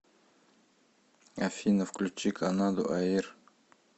афина включи канаду аир